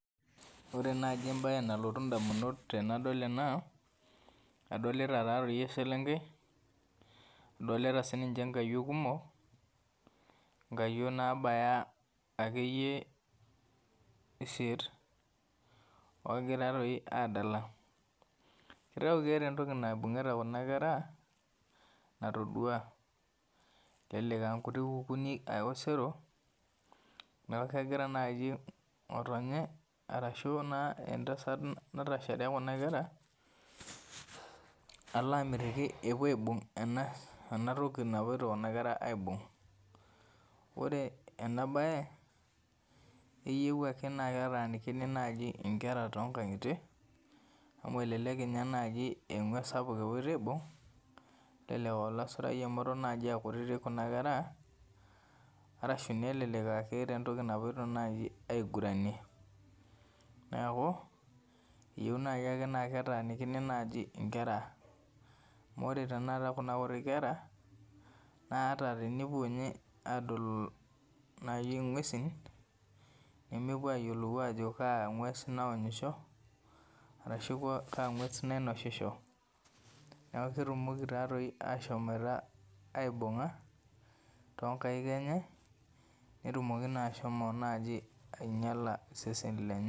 Ore naji embae nalotu ndamunot tenadol ena , adolta taa toi eselenkei, adolita sininche nkayiok kumok nkayiok nabaya akeyie isiet ogira doi adala , keeta entoki naibungita kuna kera natoduaa , elelek aa nkuti kukunik osero niaku kegira naji ngotonye arashu entasat natasahare kuna kera alamitiki epuo aibung ena enatoki napoito kuna kera aibung , ore enabae eyieu eyieu ake naa ketaanikini naji inkera toonkangitie amu elelek ninye naji ee engwes sapuk epoito aibung , nelelek aa olasurai amu eton naji aa kutitik kuna kera arashu nelelek aa keeta naji entoki napoito aiguranie , neeku eyieu naji ake naa ketaaniki inkera amu ore tenakata kuna kutitik kera naa atatenepuo naji adol ingwesin , nemepuo ayiolou ajo kaa ngwes naonyisho arashu kaa ngwes nainosisho , niaku ketumoki taa toi ashomo aibunga toonkaik enye netumoki nai ashomo naji ainyiala iseseni lenye.